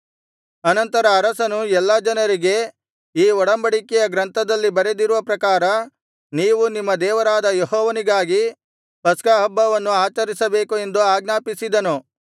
ಅನಂತರ ಅರಸನು ಎಲ್ಲಾ ಜನರಿಗೆ ಈ ಒಡಂಬಡಿಕೆಯ ಗ್ರಂಥದಲ್ಲಿ ಬರೆದಿರುವ ಪ್ರಕಾರ ನೀವು ನಿಮ್ಮ ದೇವರಾದ ಯೆಹೋವನಿಗಾಗಿ ಪಸ್ಕಹಬ್ಬವನ್ನು ಆಚರಿಸಬೇಕು ಎಂದು ಆಜ್ಞಾಪಿಸಿದನು